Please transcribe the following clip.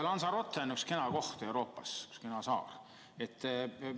Lanzarote on üks kena koht Euroopas, üks kena saar.